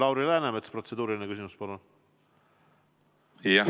Lauri Läänemets, protseduuriline küsimus, palun!